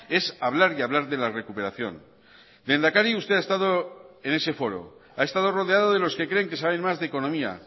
es hablar y hablar de la recuperación lehendakari usted ha estado en ese foro ha estado rodeado de los que creen que saben más de economía